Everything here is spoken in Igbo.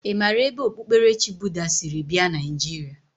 I mara ebe okpukperechi Buddha siri bia Naijiria?